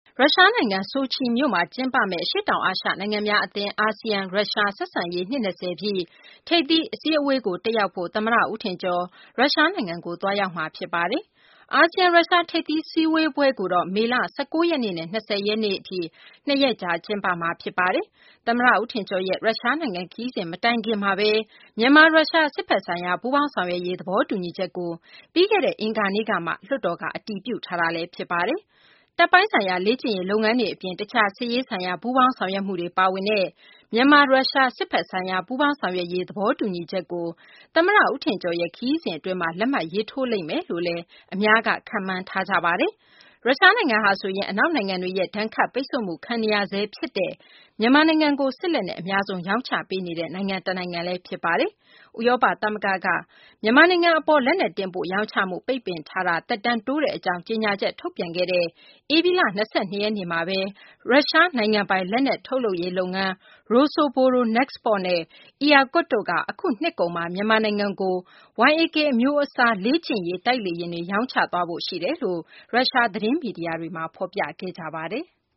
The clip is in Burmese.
ရုရှားနိုင်ငံ၊ ဆိုချီမြို့မှာကျင်းပမယ့် အရှေ့တောင်အာရှနိုင်ငံများအဖွဲ့ (ASEAN) နဲ့ ရုရှား ဆက်ဆံရေး နှစ် ၂၀ ပြည့် ထိပ်သီးအစည်းအဝေးကို တက်ရောက်ဖို့ သမ္မတဦးထင်ကျော် ရုရှားနိုင်ငံကို သွားရောက်မှာဖြစ်ပါတယ်။ အာဆီယံ-ရုရှား ထိပ်သီးစည်းဝေးပွဲကိုတော့ မေလ ၁၉ ရက်နဲ့ ၂၀ ရက် နှစ်ရက်ကြာ ကျင်းပမှာ ဖြစ်ပါတယ်။ သမ္မတဦးထင်ကျော်ရဲ့ ရုရှားနိုင်ငံ ခရီးစဉ်မတိုင်ခင်မှာဘဲ မြန်မာ - ရုရှား စစ်ဘက်ဆိုင်ရာ ပူးပေါင်းဆောင်ရွက်ရေး သဘောတူညီချက်တရပ်ကို ပြီးခဲ့တဲ့ အင်္ဂါနေ့ကမှ လွှတ်တော်က အတည်ပြုထားတာ ဖြစ်ပါတယ်။ တပ်ပိုင်းဆိုင်ရာ လေ့ကျင့်ရေးလုပ်ငန်းတွေအပြင် တခြား စစ်ရေးဆိုင်ရာ ပူးပေါင်းဆောင်ရွက်မှုတွေ ပါဝင်တဲ့ မြန်မာ-ရုရှား စစ်ဘက်ဆိုင်ရာ ပူးပေါင်းဆောင်ရွက်ရေး သဘောတူညီချက်ကို သမ္မတဦးထင်ကျော်ရဲ့ ခရီးစဉ် အတွင်းမှာ လက်မှတ်ရေးထိုးလိမ့်မယ်လို့လည်း ခန့်မှန်းထားကြပါတယ်။ ရုရှားနိုင်ငံဟာဆိုရင် အနောက်နိုင်ငံတွေရဲ့ ဒဏ်ခတ်ပိတ်ဆို့မှုခံနေရဆဲဖြစ် တဲ့ မြန်မာနိုင်ငံကို စစ်လက်နက် အများဆုံး ရောင်းချပေးနေ တဲ့ နိုင်ငံ တနိုင်ငံ ဖြစ်ပါတယ်။ ဥရောပသမဂ္ဂက မြန်မာနိုင်ငံအပေါ် လက်နက် တင်ပို့ ရောင်းချ မှု ပိတ်ပင်ထားတာ သက်တမ်းတိုးတဲ့အကြောင်း ကြေငြာချက်ထုတ်ပြန်ခဲ့တဲ့ ဧပြီလ ၂၂ ရက်နေ့မှာပဲ ရုရှားနိုင်ငံပိုင် လက်နက်ထုတ်လုပ်ရေးလုပ်ငန်း Rosoboronexport နဲ့ Irkut တို့က အခုနှစ်ကုန်မှာ မြန်မာနိုင်ငံကို Yak – 130 အမျိုးအစား လေ့ကျင့်ရေး တိုက်လေယာဉ် ရောင်းချသွားဖို့ ရှိတယ်လို့ ရုရှား သတင်း မီဒီယာတွေမှာ ဖော်ပြခဲ့ပါတယ်။